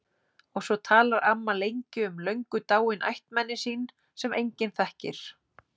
Og svo talar amma lengi um löngu dáin ættmenni sín sem enginn þekkir.